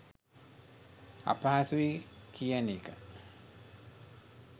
අපහසුයි කියන එක.